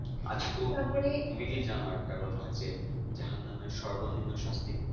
আচ্ছা তুমি কি জানো একটা কথা যে জাহান্নামের সর্বনিম্ন শাস্তি কোনটা?